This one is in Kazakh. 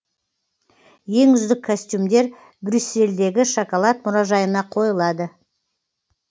ең үздік костюмдер брюссельдегі шоколад мұражайына қойылады